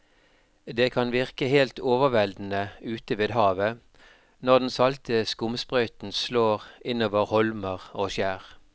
Det kan virke helt overveldende ute ved havet når den salte skumsprøyten slår innover holmer og skjær.